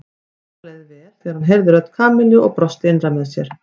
Nikka leið vel þegar hann heyrði rödd Kamillu og brosti innra með sér.